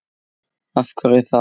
Af hverju það lag?